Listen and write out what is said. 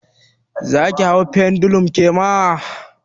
Zaki hau pendulum kema?